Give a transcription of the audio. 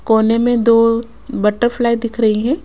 कोने में दो बटरफ्लाई दिख रही है।